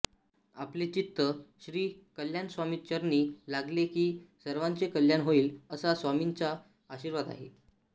आपले चित्त श्री कल्याण स्वामी चरणी लागले कि सर्वांचे कल्याण होईल असा स्वामींचा आशीर्वाद आहे